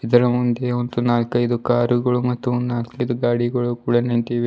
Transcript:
ಇದರ ಮುಂದೆ ಒಂದು ನಾಲ್ಕೈದು ಕಾರುಗಳು ಮತ್ತು ನಾಲ್ಕೈದು ಗಾಡಿಗಳು ಕೂಡ ನಿಂತಿವೆ.